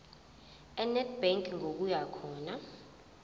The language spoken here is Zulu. enedbank ngokuya khona